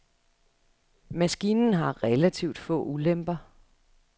Maskinen har relativt få ulemper.